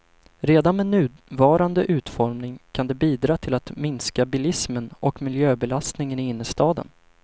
Redan med nuvarande utformning kan det bidra till att minska bilismen och miljöbelastningen i innerstaden.